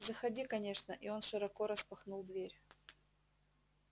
заходи конечно и он широко распахнул дверь